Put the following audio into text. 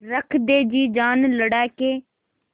रख दे जी जान लड़ा के